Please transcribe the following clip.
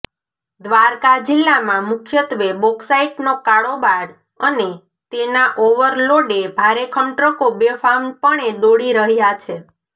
દ્વારકા જિલ્લામાં મુખ્યત્વે બોકસાઈટનો કાળોબાર અને તેના ઓવરલોડે ભારેખમ ટ્રકો બેફામ પણે દોડી રહયા છે